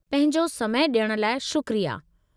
पंहिंजो समय डि॒यण लाइ शुक्रिया।